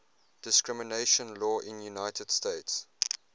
discrimination law in the united states